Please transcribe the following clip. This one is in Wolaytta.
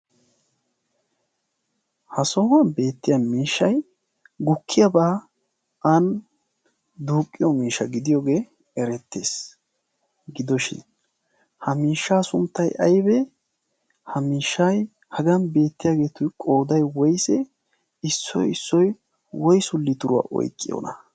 ha sohuwan beettiya miishshay gukkiyaabaa aani duuqqiyo miisha gidiyoogee erettees. gidoshin ha miishshaa sunttai aibee ha miishshai hagan beettiyaageetu qoodai woisee issoi issoi woisuli turuwaa oyqqiyoona?